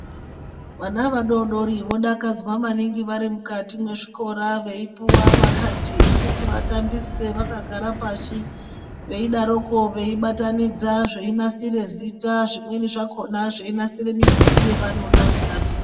Vana vadoridori vodakadzwa maningi vari mukati mezvikora vari veipuhwa macard ekuti vatambise vakagara pashi veidaroko veibatanidza kuti zvinake zvinasire Zita zvimweni zvonasira midhori yavanoda kutambisa.